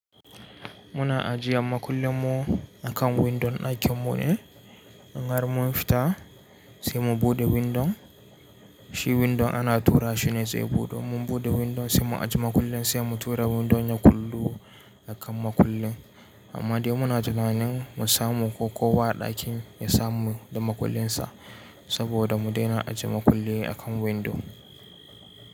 Muna ajiyan makullin mu akan windon ɗakin mu ne, in har mun fita sai mu buɗe windon, shi windon ana tura shi ne zai budu. Mun buɗe windon sai mu ajiye makullen sai mu tura windon ya kullu akan makullen. Amma dai muna tunanin mu samu ko kowa a ɗakin ya samu da makullinsa saboda mu daina ajiye makulli akan windo.